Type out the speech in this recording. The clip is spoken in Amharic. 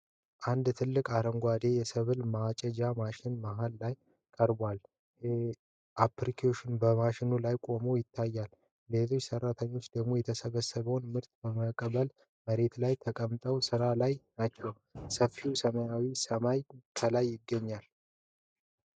አንድ ትልቅ አረንጓዴ የሰብል ማጨጃ ማሽን መሃል ላይ ቀርቧል። ኦፕሬተሩ በማሽኑ ላይ ቆሞ ይታያል። ሌሎች ሰራተኞች ደግሞ የተሰበሰበውን ምርት ለመቀበል መሬት ላይ ተቀምጠው ስራ ላይ ናቸው። ሰፊው ሰማያዊ ሰማይ ከላይ ይገኛል።